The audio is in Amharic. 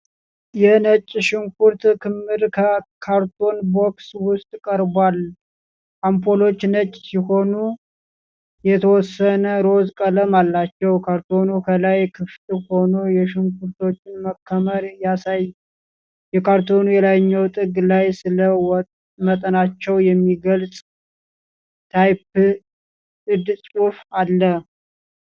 የነጭ ሽንኩርት ክምር ከካርቶን ቦክስ ውስጥ ቀርቧል። አምፖሎቹ ነጭ ሲሆኑ የተወሰነ ሮዝ ቀለም አላቸው። ካርቶኑ ከላይ ክፍት ሆኖ የሽንኩርቶቹን መከመር ያሳይ። የካርቶኑ የላይኛው ጥግ ላይ ስለ መጠናቸው የሚገልጽ ታይፕድ ፅሑፍ አለው።